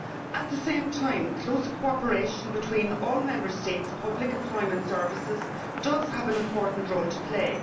At the same time closer cooperation between all Member States' public employment services does have an important role to play.